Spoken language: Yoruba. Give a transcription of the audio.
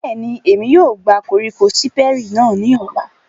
Bẹ́ẹ̀ni, Emi yóò gba koriko Siperi náa ni ọla.